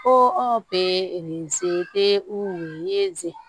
Ko anw